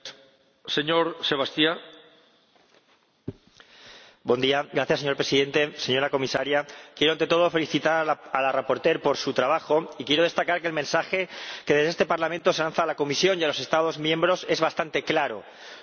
Señor Presidente, señora Comisaria, quiero ante todo felicitar a la ponente por su trabajo y quiero destacar que el mensaje que desde este Parlamento se lanza a la Comisión y a los Estados miembros es bastante claro no hay conciliación familiar y laboral sin una mejora de la aplicación del permiso parental.